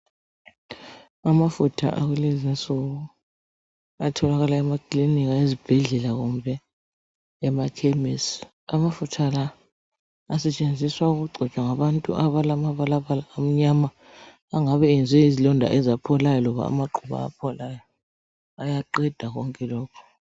Amafutha akulezi insuku atholakala emakilinika, ezibhedlela kumbe emakhemisi. Amafutha la asetshenziswa ukugcotshwa ngabantu abalamabalabala amnyama angabe enzwe yizilonda ezapholayo loba amaqhubu apholayo. Ayaqeda konke lokhu.